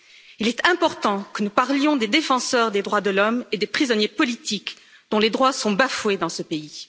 Il est important que nous parlions des défenseurs des droits de l'homme et des prisonniers politiques, dont les droits sont bafoués dans ce pays.